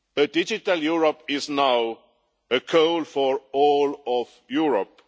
Digital Europe is now a goal for all of Europe.